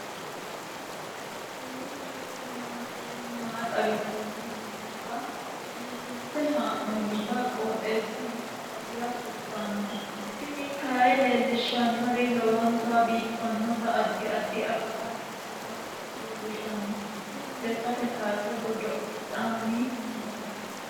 kowiicho xuma mtini maa xawissanno yaannohura biifinse haa'noonniti qooxeessano faayya kultanno tini kayi leellishshannori lowonta biiffinota addi addi akati nooseta lellishshanno tini lekkate kaase godo'lanni noommo